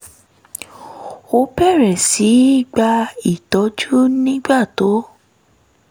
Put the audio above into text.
ó bẹ̀rẹ̀ sí í gba ìtọ́jú nígbà tó